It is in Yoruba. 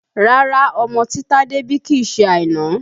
Rárá ọmọ tí Tade bí kìí ṣe Àìná